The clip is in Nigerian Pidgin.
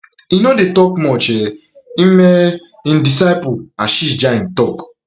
e no dey tok much um im um im disciple ashish jain tok